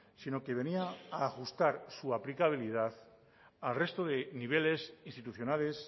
sino que venía a ajustar su aplicabilidad al resto de niveles institucionales